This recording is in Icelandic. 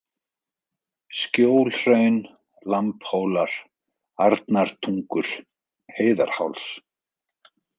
Skjólhraun, Lambhólar, Arnartungur, Heiðarháls